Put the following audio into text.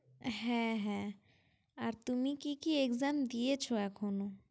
হ্যাঁ হ্যাঁ হ্যাঁ, আর তুমি কি কি exam দিয়েছো এখনো?